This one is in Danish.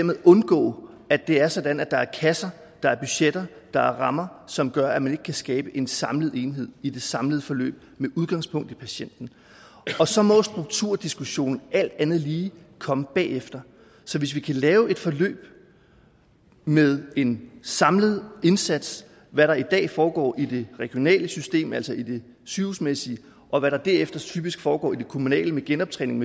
man undgå at det er sådan at der er kasser der er budgetter der er rammer som gør at man ikke kan skabe en samlet enhed i det samlede forløb med udgangspunkt i patienten og så må strukturdiskussionen alt andet lige komme bagefter så hvis vi kan lave et forløb med en samlet indsats hvad der i dag foregår i det regionale system altså i det sygehusmæssige og hvad der derefter typisk foregår i det kommunale med genoptræning